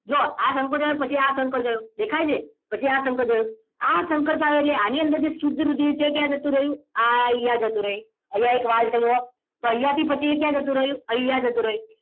જુઓ આ સંકોચાયો પછી આ સંકોચાયો દેખાય છે પછી આ સંકોચાયો આ સંકોચાયો એટલે આની અંદર જે શુદ્ધ રુધિર છે એ ક્યાં જતું રહ્યું આ અહીંયા જતું રહ્યું અહીંયા એક વાલ છે જુઓ તો અહીંયા થી પછી એ ક્યાં જતું રહ્યું અહીંયા જતું રહ્યું